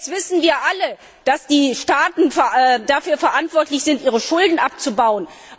Jetzt wissen wir alle, dass die Staaten dafür verantwortlich sind, ihre Schulden abzubauen.